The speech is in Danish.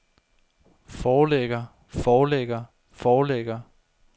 forlægger forlægger forlægger